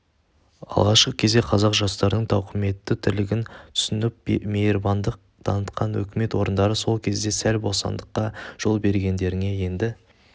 алғашқы кезде қазақ жастарының тауқыметті тірлігін түсініп мейірбандық танытқан өкімет орындары сол кезде сәл босаңдыққа жол бергендеріне енді